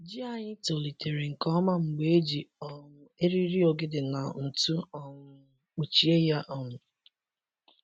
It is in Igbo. Ji anyị tolitere nke ọma mgbe e ji um eriri ogede na ntụ um kpuchie ya. um